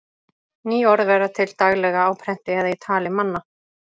Ný orð verða til daglega á prenti eða í tali manna.